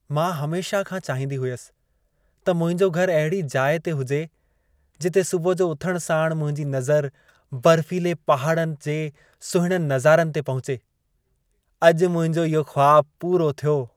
मां हमेशह खां चाहींदी हुयसि त मुंहिंजो घर अहिड़ी जाइ ते हुजे जिते सुबुह जो उथण साण मुंहिंजी नज़र बर्फ़ीले पहाड़नि जे सुहिणनि नज़ारनि ते पहुचे। अॼु मुंहिंजो इहो ख़्वाबु पूरो थियो।